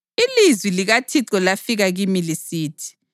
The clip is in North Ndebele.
Ilizwi likaThixo lafika kimi lisithi: